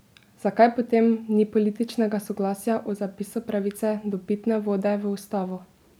Zakaj potem ni političnega soglasja o zapisu pravice do pitne vode v ustavo?